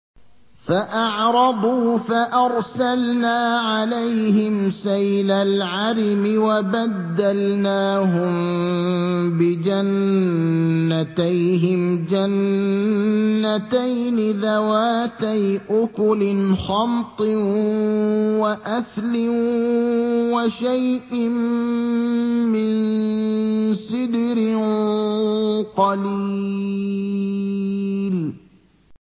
فَأَعْرَضُوا فَأَرْسَلْنَا عَلَيْهِمْ سَيْلَ الْعَرِمِ وَبَدَّلْنَاهُم بِجَنَّتَيْهِمْ جَنَّتَيْنِ ذَوَاتَيْ أُكُلٍ خَمْطٍ وَأَثْلٍ وَشَيْءٍ مِّن سِدْرٍ قَلِيلٍ